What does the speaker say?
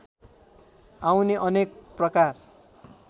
आउने अनेक प्रकार